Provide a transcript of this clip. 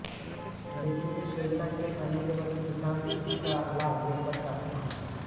लेकिन इस योजना के आने के बाद किसान इसका लाभ ले कर काफी खुश हैं